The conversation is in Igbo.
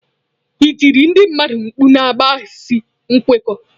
Ịtiri ndị mmadụ mkpu na-akpaghasị nkwekọ.